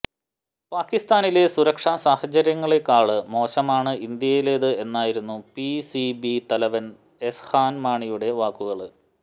പാകിസ്ഥാനിലെ സുരക്ഷാ സാഹചര്യങ്ങളേക്കാള് മോശമാണ് ഇന്ത്യയിലേത് എന്നായിരുന്നു പിസിബി തലവന് എഹ്സാന് മാണിയുടെ വാക്കുകള്